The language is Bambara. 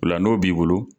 O la n'o b'i bolo